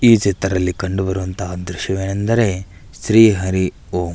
ಈ ಚಿತ್ರದಲ್ಲಿ ಕಂಡುಬರುವಂತಹ ದೃಶ್ಯವೆಂದರೆ ಶ್ರೀ ಹರಿ ಓಂ.